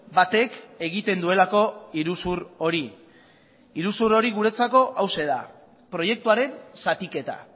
batek egiten duelako iruzur hori iruzur hori guretzako hauxe da proiektuaren zatiketa